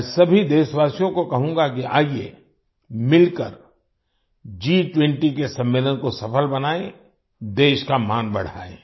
मैं सभी देशवासियो को कहूँगा कि आइए मिलकर G20 सम्मलेन को सफल बनाएं देश का मान बढ़ाएं